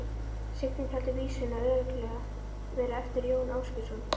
Signý taldi vísuna örugglega vera eftir Jón Ásgeirsson.